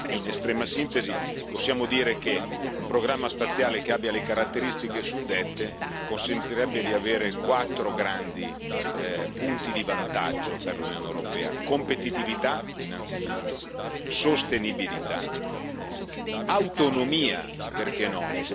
In estrema sintesi, possiamo dire che un programma spaziale che abbia le caratteristiche suddette consentirebbe di avere quattro grandi punti di vantaggio per l'Unione europea competitività, innanzitutto, sostenibilità, autonomia perché no?